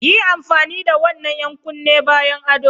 Yi amfani da wannan 'yan kunne bayan ado!